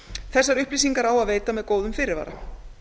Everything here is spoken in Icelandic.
þessar upplýsingar á að veita með góðum fyrirvara